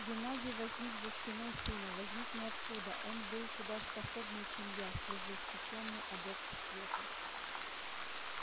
геннадий возник за спиной сына возник ниоткуда он был куда способнее чем я свежеиспечённый адепт света